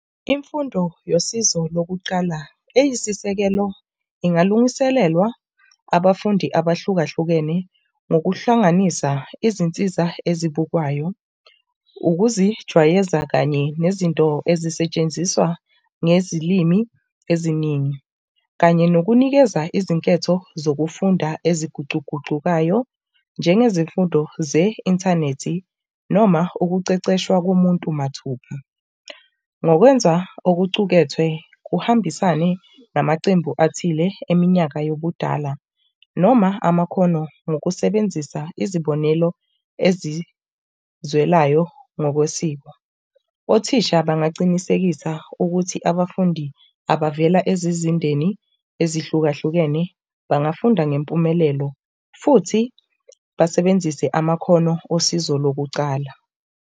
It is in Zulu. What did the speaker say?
Imfundo yosizo lokuqala eyisisekelo ingalungiselelwa abafundi abahlukahlukene ngokuhlanganisa izinsiza esibukwayo, ukuzijwayeza kanye nezinto ezisetshenziswa ngezilimi eziningi, kanye nokunikeza izinketho zokufunda ezigucugucukayo, njengezimfundo ze-inthanethi noma ukuceceshwa komuntu mathupha. Ngokwenza okucukethwe kuhambisane namacembu athile eminyaka yobudala noma amakhono ngokusebenzisa izibonelo ezizwelayo ngokwesiko. Othisha bangacinisekisa ukuthi abafuni abavela ezizindeni ezihlukahlukene bangafunda ngempumelelo futhi basebenzise amakhono osize lokucala.